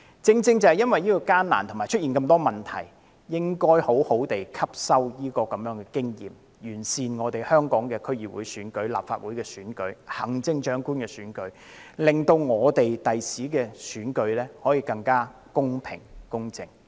正因為過程艱難及出現了很多問題，我們更應該好好吸收今次的經驗教訓，完善香港的區議會選舉、立法會選舉及行政長官選舉，令日後的選舉可以更加公平、公正。